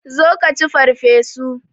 Zo ka ci farfesu!